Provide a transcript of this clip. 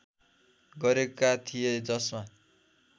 गरेका थिए जसमा